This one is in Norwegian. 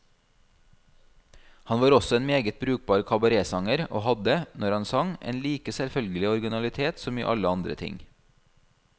Han var også en meget brukbar kabaretsanger, og hadde, når han sang, en like selvfølgelig originalitet som i alle andre ting.